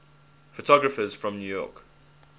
photographers from new york